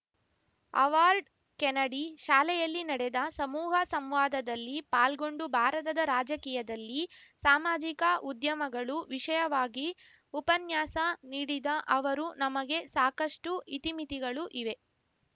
Harvard Kennedy ಶಾಲೆಯಲ್ಲಿ ನಡೆದ ಸಮೂಹ ಸಂವಾದದಲ್ಲಿ ಪಾಲ್ಗೊಂಡು ಭಾರತದ ರಾಜಕೀಯದಲ್ಲಿ ಸಾಮಾಜಿಕ ಉಧ್ಯಮಗಳು ವಿಷಯವಾಗಿ ಉಪನ್ಯಾಸ ನೀಡಿದ ಅವರು ನಮಗೆ ಸಾಕಷ್ಟುಇತಿಮಿತಿಗಳು ಇವೆ